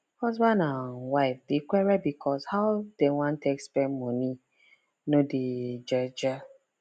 husband and wife dey quarrel because how dem wan take spend money no dey gel gel